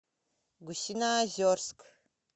гусиноозерск